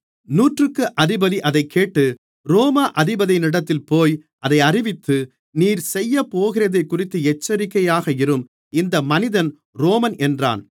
நூற்றுக்கு அதிபதி அதைக்கேட்டு ரோம அதிபதியிடத்தில்போய் அதை அறிவித்து நீர் செய்யப்போகிறதைக்குறித்து எச்சரிக்கையாக இரும் இந்த மனிதன் ரோமன் என்றான்